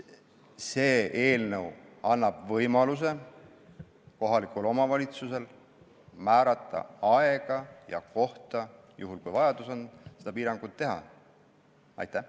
See eelnõu annab kohalikule omavalitsusele võimaluse määrata aega ja kohta , kus ja millal seda piirangut kehtestada.